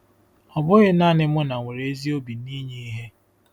Ọ bụghị naanị Muna nwere ezi obi ninye ihe.